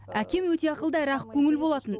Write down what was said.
әкем өте ақылды әрі ақкөңіл болатын